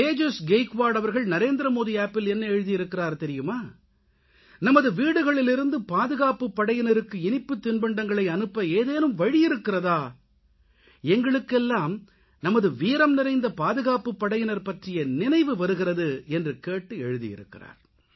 தேஜஸ் கெய்க்வாட் அவர்கள் NarendramodiAppல் என்ன எழுதியிருக்கிறார் தெரியுமா நமது வீடுகளிலிருந்து பாதுகாப்புப்படையினருக்கு இனிப்புத் தின்பண்டங்களை அனுப்ப ஏதேனும் வழியிருக்கிறதா எங்களுக்கெல்லாம் நமது வீரம் நிறைந்த பாதுகாப்புப்படையினர் பற்றிய நினைவுவருகிறது என்று கேட்டு எழுதி இருக்கிறார்